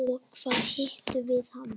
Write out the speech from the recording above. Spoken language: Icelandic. Og hvar hittum við hann?